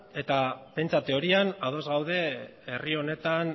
eta pentsa teorian ados gaude herri honetan